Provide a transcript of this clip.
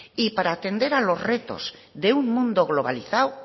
y para atender a los retos de un mundo globalizado